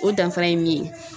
O danfara ye min ye